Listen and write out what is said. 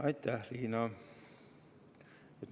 Aitäh, Riina!